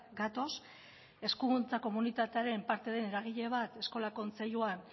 gatoz hezkuntza komunitatearen parte den eragile bat eskola kontseilua